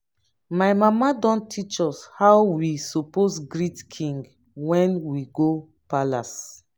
my mama don teach us how we suppose greet king when we go palace